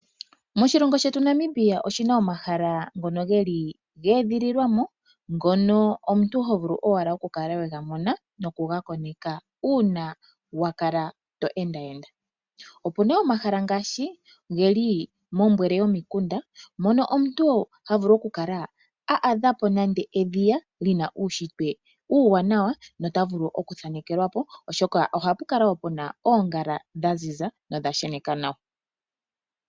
Moshilongo shetu Namibia oshina omahala ngono geli geedhililwa mo. Ngono omuntu ho vulu owala oku kala we ga mona noku ga koneka uuna wakala to enda enda. Opu na omahala ngaashi geli mombwele yomikunda mono omuntu ha vulu oku kala a adha po nande edhiya lina uushitwe uuwanawa nota vulu oku thanekelwa po oshoka, oha pu kala woo pena oongala dha ziza nodha sheneka nawa.